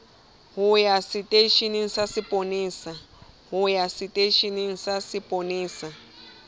ho ya seteisheneng sa sepolesa